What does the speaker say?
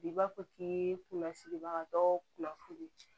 I b'a fɔ k'i ye kunnafilibaga dɔ kunnafoni